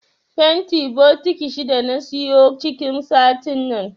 Fanti bokiti shida na siyo cikin satin nan.